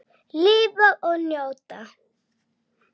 Lifa og njóta.